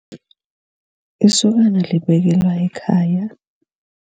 Isokana libekelwa ekhaya.